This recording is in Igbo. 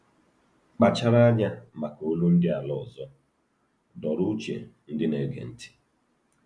“Kpachara Anya Maka ‘Olu Ndị Ala Ọzọ’” dọọrọ uche ndị na-ege ntị.